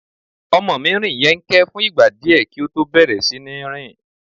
Ọmọ mí rìn yẹ́nkẹ́n fún ìgbà díẹ̀ kí ó tó bẹ̀rẹ̀ sí ní rìn.